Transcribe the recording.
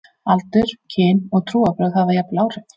Aldur, kyn, og trúarbrögð hafa jafnvel áhrif.